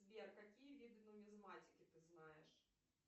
сбер какие виды нумизматики ты знаешь